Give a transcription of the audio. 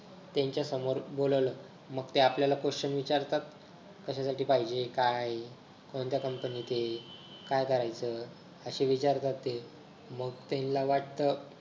त्यांच्या समोर बोलावलं मग ते आपल्याला question विचारतात कश्यासाठी पाहिजे काय कोणत्या company त हे काय असे विचारतात ते मंग त्यांना वाटत.